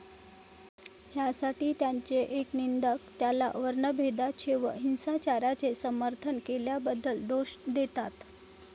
ह्यासाठी त्यांचे एक निंदक त्याला वर्णभेदाचे व हिंसाचाराचे समर्थन केल्याबद्दल दोष देतात.